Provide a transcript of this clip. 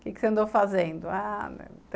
O que você andou fazendo? Ah, não...